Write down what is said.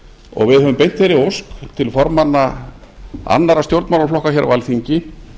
og við höfum beint þeirri ósk til formanna annarra stjórnmálaflokka hér á alþingi